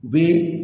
U bɛ